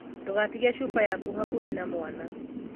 Ndūgatige Cuba yaku hakuhī na mwana.